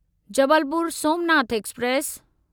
Jabalpur Somnath express